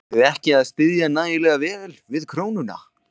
Eruð þið ekki að styðja nægilega vel við krónuna?